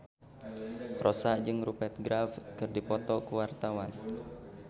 Rossa jeung Rupert Graves keur dipoto ku wartawan